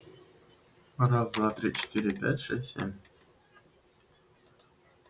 раз два три четыре пять шесть семь